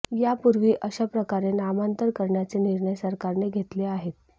यापूर्वी अशाप्रकारे नामांतर करण्याचे निर्णय सरकारने घेतले आहेत